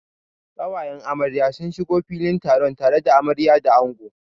Ƙawayen amarya sun shigo filin taron tare da amarya da ango.